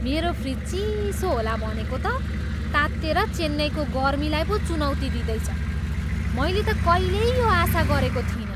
मेरो फ्रिज चिसो होला भनेको त तातेर चेन्नईको गर्मीलाई पो चुनौती दिँदैछ, मैले त कहिल्यै यो आशा गरेको थिइनँ!